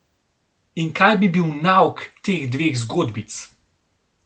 In kaj bi bil nauk teh dveh zgodbic?